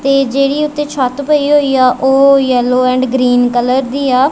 ਤੇ ਜਿਹੜੀ ਉੱਤੇ ਛੱਤ ਪਈ ਹੋਈ ਆ ਉਹ ਯੈਲੋ ਐਂਡ ਗਰੀਨ ਕਲਰ ਦੀ ਆ।